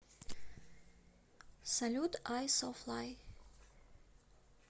салют айсофлай